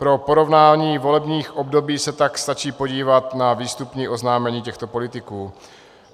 Pro porovnání volebních období se tak stačí podívat na výstupní oznámení těchto politiků.